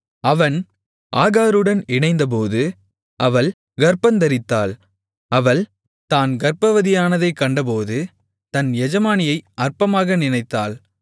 அவன் ஆகாருடன் இணைந்தபோது அவள் கர்ப்பந்தரித்தாள் அவள் தான் கர்ப்பவதியானதைக் கண்டபோது தன் எஜமானியை அற்பமாக நினைத்தாள்